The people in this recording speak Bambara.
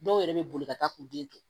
Dɔw yɛrɛ bɛ boli ka taa k'u den jɔ